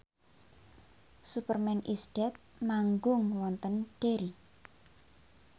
Superman is Dead manggung wonten Derry